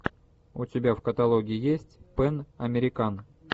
у тебя в каталоге есть пэн американ